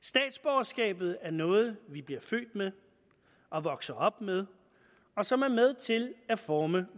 statsborgerskabet er noget vi bliver født med og vokser op med og som er med til at forme